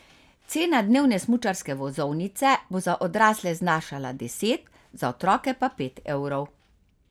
Cena dnevne smučarske vozovnice bo za odrasle znašala deset, za otroke pa pet evrov.